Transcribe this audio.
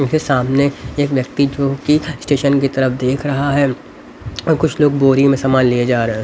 उनके सामने एक व्यक्ति जो कि स्टेशन की तरफ देख रहा है और कुछ लोग बोरी में सामान ले जा रहे हैं।